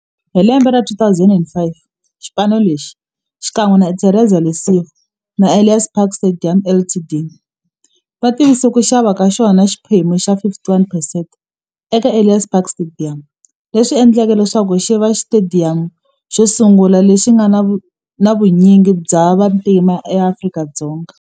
Hi lembe ra 2005, xipano lexi, xikan'we na Interza Lesego na Ellis Park Stadium Ltd, va tivise ku xava ka xona xiphemu xa 51 percent eka Ellis Park Stadium, leswi endleke leswaku xiva xitediyamu xosungula lexi nga na vunyingi bya vantima e Afrika-Dzonga.